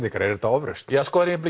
er þetta ofrausn ég